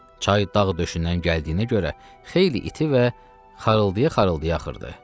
Çay dağ döşündən gəldiyinə görə xeyli iti və xarıldıya xarıldıya axırdı.